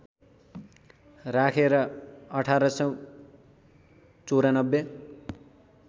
राखे र १८९४